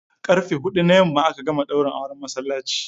Karfe huɗu na yamma aka gama daurin auren masallaci.